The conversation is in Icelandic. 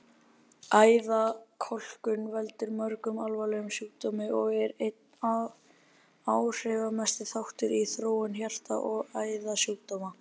Æðakölkun veldur mörgum alvarlegum sjúkdómum og er einn áhrifamesti þáttur í þróun hjarta- og æðasjúkdóma.